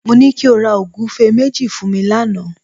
Mo ní kí o ra ògúfe méjì fún mi lánàá